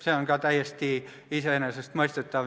See on täiesti iseenesestmõistetav.